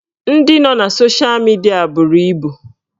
Ndị nọ na sosha midia buru ibu